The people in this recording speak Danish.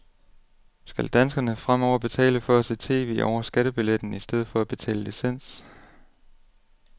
Skal danskerne fremover betale for at se tv over skattebilletten i stedet for at betale licens.